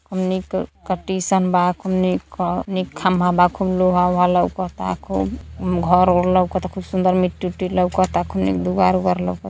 हमनी का का का टीशन बा खूब नी खंभा बा खूब लोहा लोहा -ऊहा लउकता खूब घर उर लउकता खूब सुंदर मिट्टी -उट्टी लउकता खूब एक दुवार- उवार लउकता।